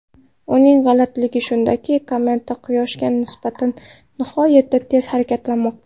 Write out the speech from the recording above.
Uning g‘alatiligi shundaki, kometa Quyoshga nisbatan nihoyatda tez harakatlanmoqda.